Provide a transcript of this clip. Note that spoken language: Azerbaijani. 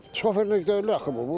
Şoferlik deyil axı bu.